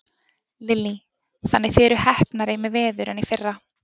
Lillý: Þannig að þið eruð heppnari með veður en í fyrra?